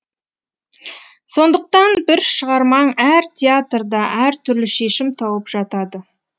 сондықтан бір шығармаң әр театрда әр түрлі шешім тауып жатады